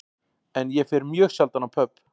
En ég fer mjög sjaldan á pöbb